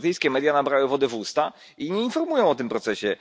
Brytyjskie media nabrały wody w usta i nie informują o tym procesie.